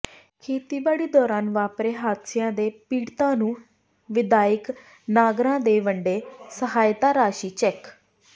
ਖੇਤੀਬਾੜੀ ਦੌਰਾਨ ਵਾਪਰੇ ਹਾਦਸਿਆਂ ਦੇ ਪੀੜਤਾਂ ਨੂੰ ਵਿਧਾਇਕ ਨਾਗਰਾ ਨੇ ਵੰਡੇ ਸਹਾਇਤਾ ਰਾਸ਼ੀ ਦੇ ਚੈੱਕ